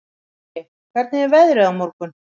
Skúli, hvernig er veðrið á morgun?